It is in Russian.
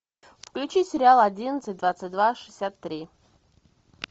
включи сериал одиннадцать двадцать два шестьдесят три